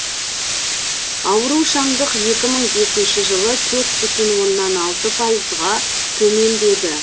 аурушаңдық екі мың бесінші жылы төрт бүтін оннан алты пайызға төмендеді